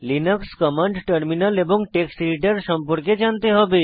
Linux command terminal এবং text editor ব্যবহার সম্পর্কে জানতে হবে